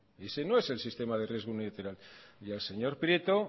ese no es el sistema de riesgo unilateral y al señor prieto